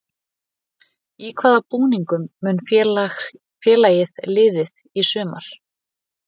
Í hvaða búningum mun félagið liðið í sumar?